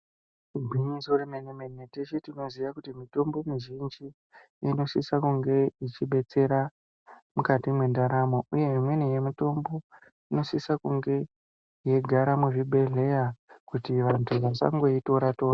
Igwinyiso remene mene teshe tinoziya kuti mitombo mizhinji inosisa kunge ichidetsera mukati mwendaramo ,uye imweni yemitombo inosisa kunge yeigara muzvibhedhleya kuti vanthu vasangoitora tora.